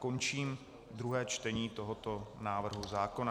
Končím druhé čtení tohoto návrhu zákona.